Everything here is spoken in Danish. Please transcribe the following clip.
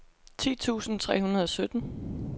ti tusind tre hundrede og sytten